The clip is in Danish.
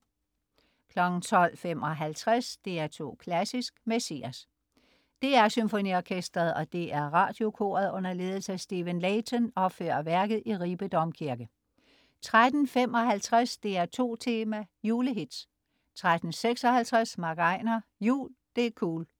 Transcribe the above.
12.55 DR2 Klassisk: Messias. DR SymfoniOrkestret og DR Radiokoret, under ledelse af Stephen Layton, opfører værket i Ribe Domkirke 13.55 DR2 Tema: Julehits 13.56 MC Einar "Jul. Det' cool"